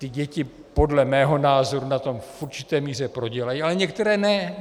Ty děti podle mého názoru na tom v určité míře prodělají, ale některé ne.